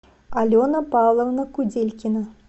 алена павловна куделькина